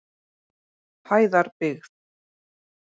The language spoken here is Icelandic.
Hæðarbyggð